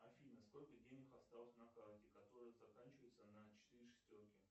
афина сколько денег осталось на карте которая заканчивается на четыре шестерки